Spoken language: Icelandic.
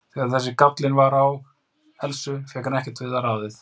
Þegar þessi gállinn var á Elsu fékk hann ekkert við ráðið.